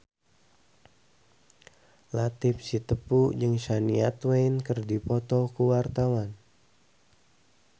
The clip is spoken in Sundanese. Latief Sitepu jeung Shania Twain keur dipoto ku wartawan